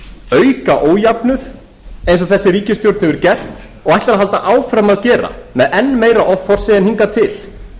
auka ójöfnuð eins og þessi ríkisstjórn hefur gert og ætlar að halda áfram að gera með enn meira offorsi en hingað til